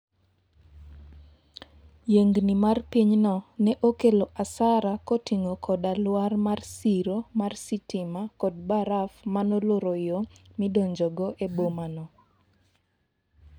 yiengni mar pinyno ne okelo asara koting'o koda ka lwar mar siro mar sitima kod baraf manoloro yoo midonjogo eboma no